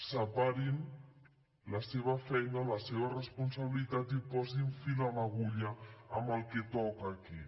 separin la seva feina la seva responsabilitat i posin fil a l’agulla amb el que toca aquí